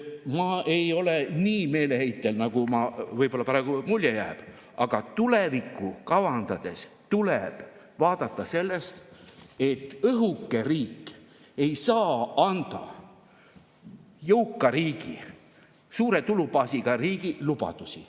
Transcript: Ma ei ole nii meeleheitel, nagu võib-olla praegu mulje jääb, aga tulevikku kavandades tuleb sellest, et õhuke riik ei saa anda jõuka riigi, suure tulubaasiga riigi lubadusi.